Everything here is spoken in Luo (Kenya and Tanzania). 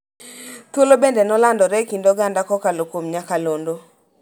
Thuolo bende ne olandore e kind oganda kokalo kuom nyakalondo